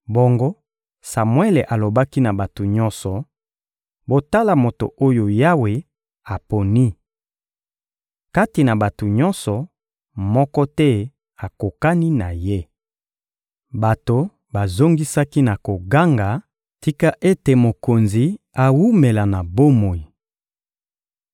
Bongo Samuele alobaki na bato nyonso: — Botala moto oyo Yawe aponi! Kati na bato nyonso, moko te akokani na ye. Bato bazongisaki na koganga: — Tika ete mokonzi awumela na bomoi!